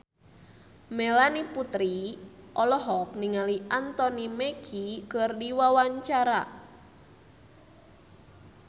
Melanie Putri olohok ningali Anthony Mackie keur diwawancara